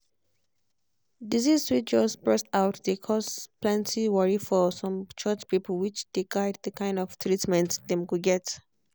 disease way just burst out dey cause plenty worry for some church people which dey guide the kind of treatment dem go get.